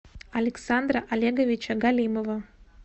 александра олеговича галимова